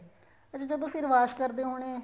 ਅੱਛਾ ਜਦੋਂ ਸਿਰ wash ਕਰਦੇ ਹੋਣੇ